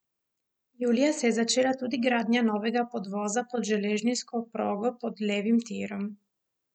Julija se je začela tudi gradnja novega podvoza pod železniško progo pod levim tirom.